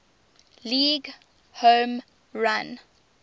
league home run